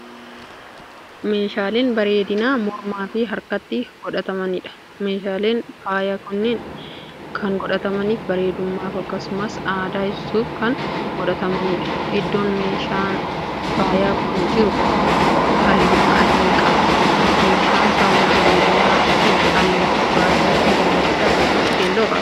Meeshaaleen bareedina mormaafi harkattis godhatamaniidha. meeshaleen faayaa kunniin Kan godhatamaniif bareedumaaf akkasumas aadaa ibsuuf Kan godhatamaniidha. iddoon meeshaan faayaa Kun jiru halluu adii qaba. meeshaan faaya bareedinaankuni halluu gurraachaa fi daalacha. akkasumas keelloo qaba.